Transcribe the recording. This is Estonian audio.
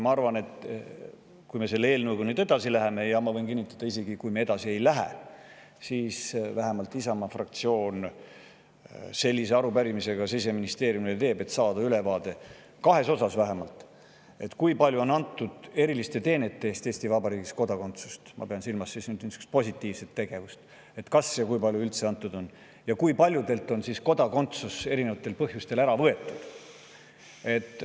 Ma arvan, et kui me selle eelnõuga edasi läheme, ja ma võin kinnitada, et isegi kui me ei lähe, siis teeb vähemalt Isamaa fraktsioon sellise arupärimise ka Siseministeeriumile, et saada ülevaade vähemalt nende kahe osa kohta: kui palju ja kas üldse on antud Eesti Vabariigis kodakondsust eriliste teenete eest – ma pean silmas nihukest positiivset tegevust – ja kui paljudelt on kodakondsus erinevatel põhjustel ära võetud.